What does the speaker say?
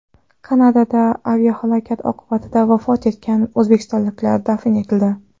Kanadada aviahalokat oqibatida vafot etgan o‘zbekistonliklar dafn etildi.